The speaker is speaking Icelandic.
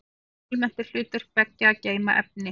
Almennt er hlutverk beggja að geyma efni.